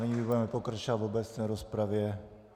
Nyní budeme pokračovat v obecné rozpravě.